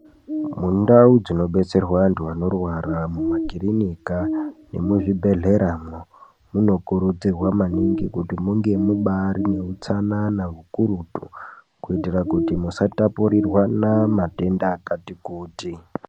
Mundau dzinobetserwa antu anorwara mumakirinika nemuzvibhedhlera mwo munokurudzirwa maningi kuti munge mubari neutsanana hukurutu kuitira kuti musatapurirwana matenda akati kuti.